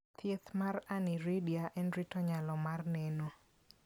Thieth mar aniridia en rito nyalo mar neno.